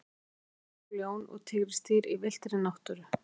Hvað lifa mörg ljón og tígrisdýr í villtri náttúru?